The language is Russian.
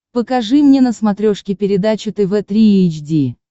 покажи мне на смотрешке передачу тв три эйч ди